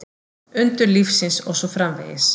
Undur lífsins og svo framvegis.